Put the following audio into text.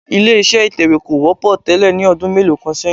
Ilé-iṣẹ́ ìtẹwé kò wọ́pọ̀ tẹ́lẹ̀ ní ọdún mélòó kan ṣẹ́yin